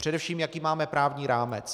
Především jaký máme právní rámec.